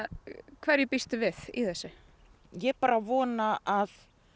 hverju við í þessu ég bara vona að